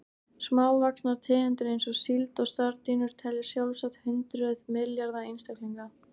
Smávaxnar tegundir eins og síld og sardínur telja sjálfsagt hundruð milljarða einstaklinga.